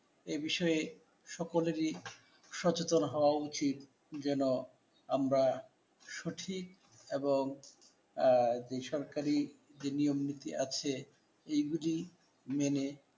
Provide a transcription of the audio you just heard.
এ বিষয়ে সকলেরই সচেতন হওয়া উচিত, যেন আমরা সঠিক এবং আহ যে সরকারি যে নিয়ম নীতি আছে এগুলি মেনে